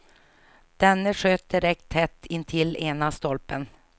Denne sköt direkt tätt intill ena stolpen.